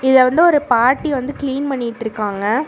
இத வந்து ஒரு பாட்டி வந்து கிளீன் பண்ணிட்ருக்காங்க.